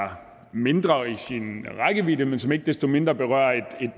mindre i rækkevidde men som ikke desto mindre berører et